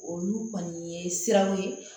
Olu kɔni ye siraw ye